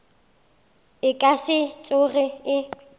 e ka se tsoge e